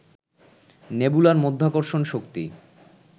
নেবুলার মাধ্যাকর্ষণ শক্তি